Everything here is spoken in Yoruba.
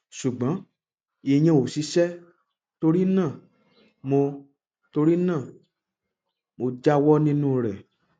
ṣùgbọn ìyẹn ò ṣiṣẹ torí náà mo torí náà mo jáwọ nínú rẹ